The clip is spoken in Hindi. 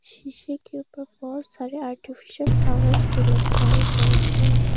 शीशे के ऊपर बहोत सारे आर्टिफिशियल फ्लॉवर्स भी लटकाए गए हैं।